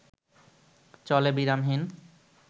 চলে বিরামহীন